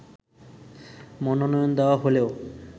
মনোনয়ন দেয়া হলেও